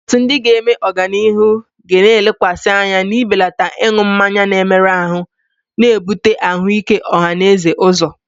Atụmatụ ndị ga-eme n'ọdịnihu ga-elekwasị anya n'ibelata ịṅụ mmanya na-emerụ ahụ, na-ebute ahụike ọha na eze ụzọ.